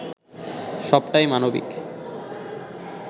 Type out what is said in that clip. সবটাই মানবিক